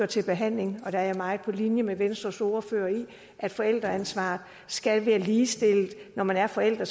til behandling jeg er meget på linje med venstres ordfører i at forældreansvaret skal være ligestillet når man er forældre